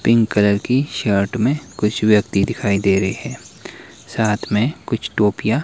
pink colour की shirt में कुछ व्यक्ति दिखाई दे रहे हैं साथ में कुछ टोपिया --